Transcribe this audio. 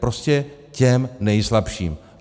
Prostě těm nejslabším.